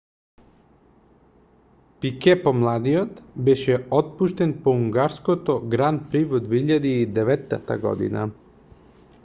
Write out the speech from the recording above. пике помладиот беше отпуштен по унгарското гран при во 2009 година